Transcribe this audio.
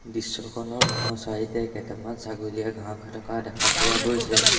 দৃশ্যখনৰ বাওঁ-চাইডে এ কেইটামান ছাগলীয়ে ঘাঁহ খাই থকা দেখা পোৱা গৈছে।